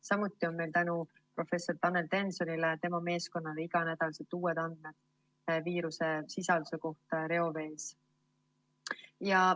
Samuti on meil tänu professor Tanel Tensonile ja tema meeskonnale igal nädalal uued andmed viiruse sisalduse kohta reovees.